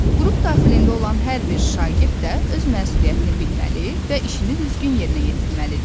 Qrup daxilində olan hər bir şagird də öz məsuliyyətini bilməli və işini düzgün yerinə yetirməlidir.